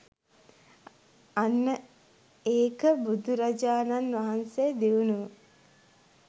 අන්න ඒක බුදුරජාණන් වහන්සේ දියුණුව